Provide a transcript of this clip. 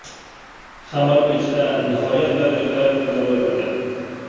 Xamir pechda nihoyat darajada ko‘tarilib ketadi.